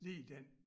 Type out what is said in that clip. Lige den